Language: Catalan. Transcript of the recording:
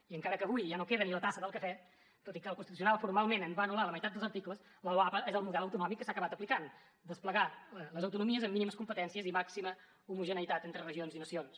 i encara que avui ja no queda ni la tassa del cafè tot i que el constitucional formalment en va anul·lar la meitat dels articles la loapa és el model autonòmic que s’ha acabat aplicant desplegar les autonomies amb mínimes competències i màxima homogeneïtat entre regions i nacions